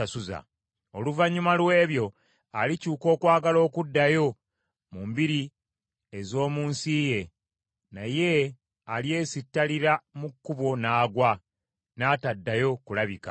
Oluvannyuma lw’ebyo alikyuka okwagala okuddayo mu mbiri ez’omu nsi ye, naye alyesittalira mu kkubo n’agwa, n’ataddayo kulabika.